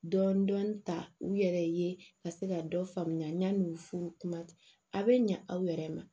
Dɔɔnin dɔɔnin ta u yɛrɛ ye ka se ka dɔ faamuya yan'u furu kuma bɛ ɲa aw yɛrɛ ma